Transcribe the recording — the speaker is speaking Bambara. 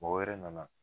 Mɔgɔ wɛrɛ nana